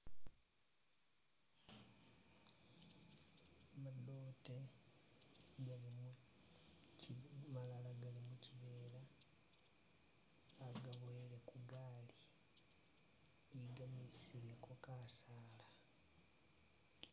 Madote malala gali mukyivela bagabowele kugali bigamisileko kasala .